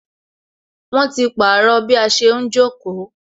Wọn ti pàrọ̀ bí a ṣe ń jókòó